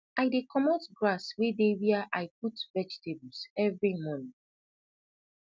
i dey comot grass wey dey wia i put vegetables everi mornin